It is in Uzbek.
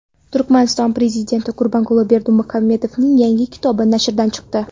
Turkmaniston Prezidenti Gurbanguli Berdimuhamedovning yangi kitobi nashrdan chiqdi.